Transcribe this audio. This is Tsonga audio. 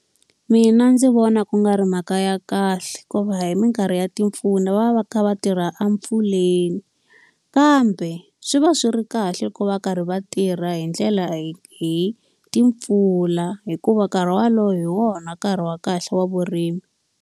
Mina ndzi vona ku nga ri mhaka ya kahle hikuva hi minkarhi ya timpfula va va va kha va tirha etimpfuleni. Kambe swi va swi ri kahle loko va karhi va tirha hi ndlela hi hi timpfula hikuva nkarhi walowo hi wona nkarhi wa kahle wa vurimi.